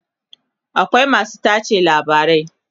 akwai masu tace labarai